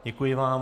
Děkuji vám.